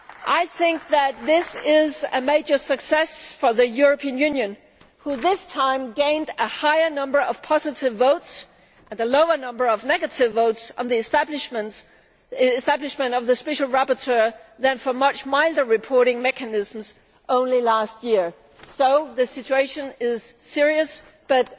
I think that this is a major success for the European Union which this time gained a higher number of positive votes and a lower number of negative votes on the establishment of the special rapporteur than for much milder reporting mechanisms only last year. The situation is serious, but